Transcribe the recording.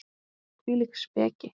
Hvílík speki!